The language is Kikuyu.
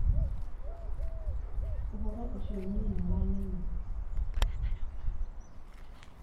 ũhoro ũcio niĩ nĩwanema